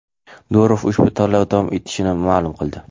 Durov ushbu tanlov davom etishini ma’lum qildi.